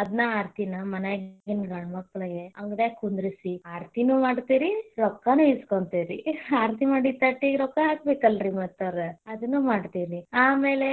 ಅದನ್ನ ಆರ್ತಿನ ಮನ್ಯಾಗಿನ ಗಂಡ ಮಕ್ಕಳಿಗೆ ಅಂಗಡ್ಯಾಗ ಕುಂದ್ರಿಸಿ ಆರ್ತಿನೂ ಮಾಡ್ತೇವ್ ರಿ ರೊಕ್ಕಾನು ಇಸ್ಕೊಂತೆವ್ ರಿ ಆರ್ತಿ ಮಾಡಿದ ತಟ್ಟಿಗ್ ರೊಕ್ಕಾ ಹಾಕಬೇಕಲ್ಲ ರಿ ಮತ್ತ ಅವ್ರ ಅದನ್ನು ಮಾಡ್ತೇವ್ ರಿ, ಆಮೇಲೆ